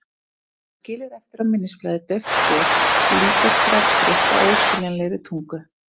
Það skilur eftir á minnisblaði dauft spor, líkast grafskrift á óskiljanlegri tungu.